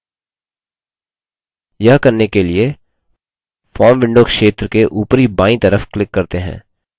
यह करने के लिए form window क्षेत्र के उपरी बायीं तरफ click करते हैं